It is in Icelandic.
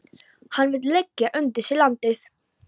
Hann vill leggja undir sig landið.